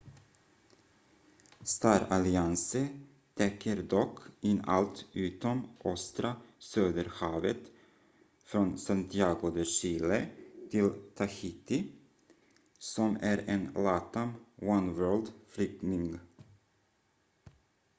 star alliance täcker dock in allt utom östra söderhavet från santiago de chile till tahiti som är en latam oneworld-flygning